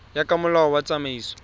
ya ka molao wa tsamaiso